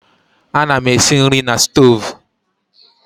Ana m esi nri na stovu.